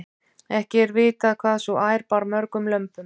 ekki er vitað hvað sú ær bar mörgum lömbum